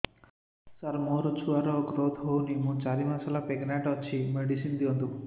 ସାର ମୋର ଛୁଆ ର ଗ୍ରୋଥ ହଉନି ମୁ ଚାରି ମାସ ପ୍ରେଗନାଂଟ ଅଛି ମେଡିସିନ ଦିଅନ୍ତୁ